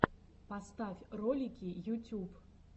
поставь ролики ютюб